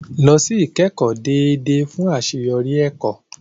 Lọ sí ìkẹ́kọ̀ọ́ déédéé fún àṣeyọrí ẹ̀kọ́.